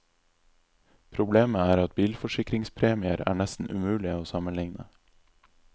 Problemet er at bilforsikringspremier er nesten umulige å sammenligne.